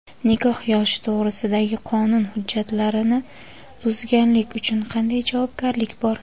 Nikoh yoshi to‘g‘risidagi qonun hujjatlarini buzganlik uchun qanday javobgarlik bor?.